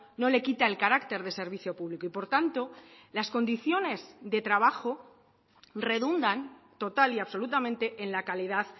no le quita el carácter de servicio público y por tanto las condiciones de trabajo redundan total y absolutamente en la calidad